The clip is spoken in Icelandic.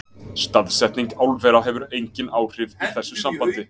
Staðsetning álvera hefur engin áhrif í þessu sambandi.